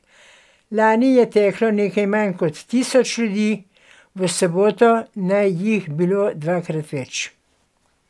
Lani je teklo nekaj manj kot tisoč ljudi, v soboto naj jih bilo dvakrat več.